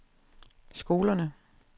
skolerne